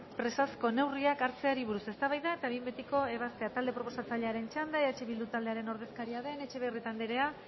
presazko neurriak hartzeari buruz eztabaida eta behin betiko ebaztea talde proposatzailearen txanda eh bildu taldearen ordezkaria den etxebarrieta anderea